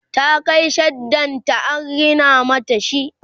ta Kai shaddan ta an rina mata shi